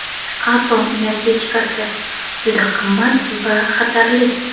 Atom energetikasi: juda qimmat va xatarli.